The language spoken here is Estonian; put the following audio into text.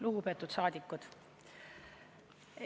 Lugupeetud saadikud!